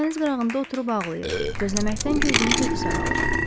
Yəqin dəniz qırağında oturub ağlayır, gözləməkdən gözünün kökü saralıb.